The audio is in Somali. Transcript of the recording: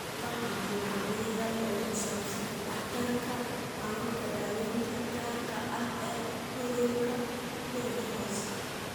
Waxaa jira caddayn yar oo ku saabsan waxtarka hababka daaweynta gaarka ah ee cudurka Ledderhose.